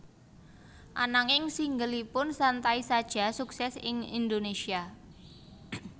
Ananging singleipun Santai Saja sukses ing Indonesia